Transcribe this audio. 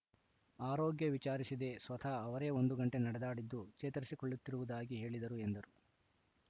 ಆರೋಗ್ಯ ವಿಚಾರಿಸಿದೆ ಸ್ವತಃ ಅವರೇ ಒಂದು ಗಂಟೆ ನಡೆದಾಡಿದ್ದು ಚೇತರಿಸಿಕೊಳ್ಳುತ್ತಿರುವುದಾಗಿ ಹೇಳಿದರು ಎಂದರು